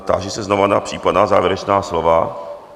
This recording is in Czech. Táži se znova na případná závěrečná slova.